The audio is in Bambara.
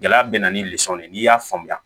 Gɛlɛya bɛ na ni ye n'i y'a faamuya